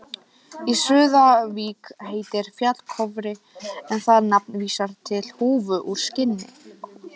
Í Súðavík heitir fjall Kofri en það nafn vísar til húfu úr skinni.